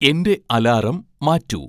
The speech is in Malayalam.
എന്റെ അലാറം മാറ്റൂ